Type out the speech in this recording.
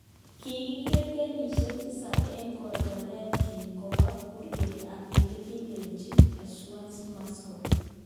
Kikiker kenyishek tisab eng korgoret kin kobel kurget ab eletelelchin ujasusi Moscow.